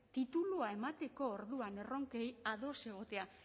titulua emateko orduan erronkei ados egotea